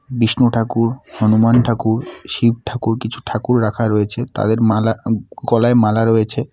বিষ্ণু ঠাকুর হনুমান ঠাকুর শিব ঠাকুর কিছু ঠাকুর রাখা রয়েছে তাদের মালা উম-গলায় মালা রয়েছে।